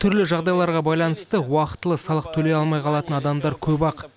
түрлі жағдайларға байланысты уақытылы салық төлей алмай қалатын адамдар көп ақ